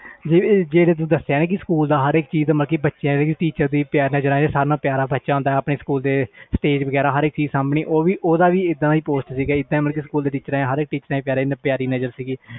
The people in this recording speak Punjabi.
ਜਿਵੇ ਤੂੰ ਦਸਿਆ ਇਕ ਪਿਆਰਾ ਬੱਚਾ ਪਿਆਰਾ teacher ਜਿਵੇ stage ਸਬਣੀ ਹਰ ਇਕ ਚੀਜ਼ ਓਵੇ ਵੀ ਸਬ ਦੀ ਪਿਆਰੀ ਨਜ਼ਰ ਸੀ ਮੇਰੇ ਤੇ